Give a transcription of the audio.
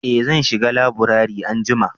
eh zan shiga laburare anjima